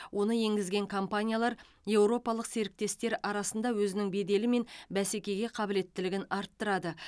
оны енгізген компаниялар еуропалық серіктестер арасында өзінің беделі мен бәсекеге қабілеттілігін арттырады